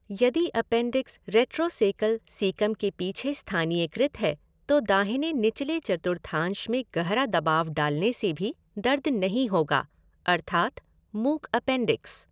यदि appendix retrocaecal caecum के पीछे स्थानीयकृत है, तो दाहिने निचले चतुर्थांश में गहरा दबाव डालने से भी दर्द नहीं होगा अर्थात मूक अपेंडिक्स।